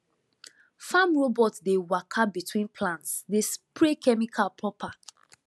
farm robot dey waka between plants dey spray chemical proper